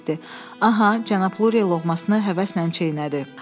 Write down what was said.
Aha, cənab Lurie loğmasını həvəslə çeynədi.